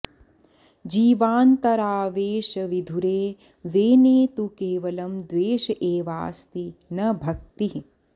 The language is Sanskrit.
जीवान्तरावेशविधुरे वेने तु केवलं द्वेष एवास्ति न भक्तिः